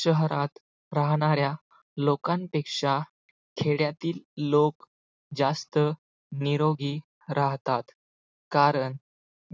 शहरात राहणाऱ्या लोकांपेक्षा खेड्यातील लोक जास्त निरोगी राहतात, कारण